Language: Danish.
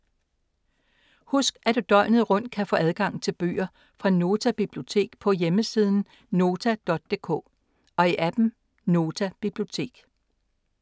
Husk at du døgnet rundt kan få adgang til bøger fra Nota Bibliotek på www.nota.dk og i app’en Nota Bibliotek.